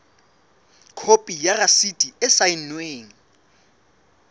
khopi ya rasiti e saennweng